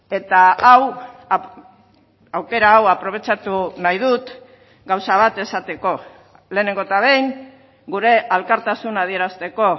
eta hau aukera hau aprobetxatu nahi dut gauza bat esateko lehenengo eta behin gure elkartasuna adierazteko